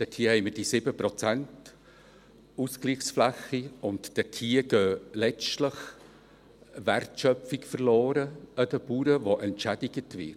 Dort haben wir diese 7 Prozent Ausgleichsfläche, und dort geht letztlich den Bauern Wertschöpfung verloren, die entschädigt wird.